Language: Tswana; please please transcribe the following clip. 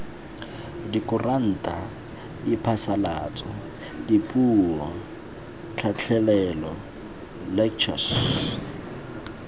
dikuranta diphasalatso dipuo tlhatlhelelo lectures